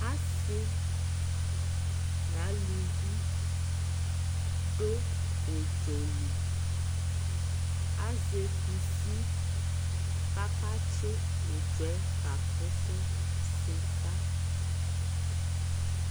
asii nʋ alʋvi dʋ ʋdzɔli, azɛ kʋsi kʋaka tsi ʋdzɔɛ ka ƒʋsʋ sika